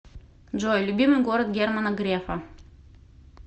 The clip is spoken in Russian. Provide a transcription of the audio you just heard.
джой любимый город германа грефа